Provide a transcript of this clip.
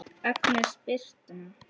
Agnes Birtna.